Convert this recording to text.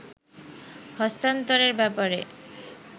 হস্তান্তরের ব্যাপারে